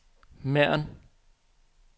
Mern